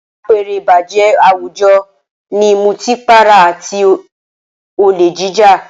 Apẹ̀rẹ̀ ìbàjẹ́ àwùjọ ní ìmutí para àti olè jíjà